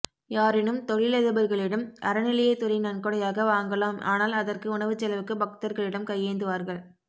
யாரேனும் தொழிலதிபர்களிடம் அறநிலையத்துறை நன்கொடையாக வாங்கலாம் ஆனால் அதற்கு உணவுசெலவுக்கு பக்தர்களிடம் கையேந்துவார்கள்